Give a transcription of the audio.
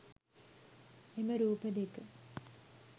එම රූප දෙක